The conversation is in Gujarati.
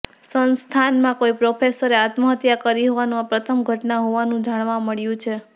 સંસ્થાનમાં કોઈ પ્રોફેસરે આત્મહત્યા કરી હોવાની આ પ્રથમ ઘટના હોવાનું જાણવા મળ્યું છે